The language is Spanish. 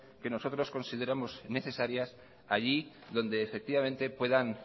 que nosotros consideremos necesarias allí donde puedan